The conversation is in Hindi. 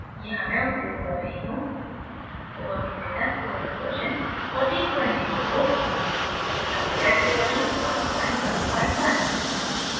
यहाँ मैं उपयोग कर रही हूँ: